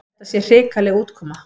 Þetta sé hrikaleg útkoma.